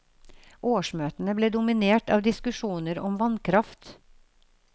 Årsmøtene ble dominert av diskusjoner om vannkraft.